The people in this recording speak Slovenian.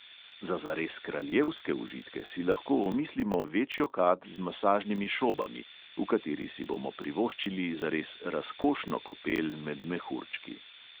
Za zares kraljevske užitke si lahko omislimo večjo kad z masažnimi šobami, v kateri si bomo privoščili zares razkošno kopel med mehurčki.